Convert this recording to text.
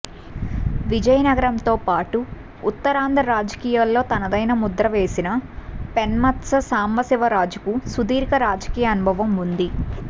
విజయనగరంతో పాటు ఉత్తరాంధ్ర రాజకీయాల్లో తనదైన ముద్ర వేసిన పెన్మెత్స సాంబశివరాజుకు సుదీర్ఘ రాజకీయ అనుభవం ఉంది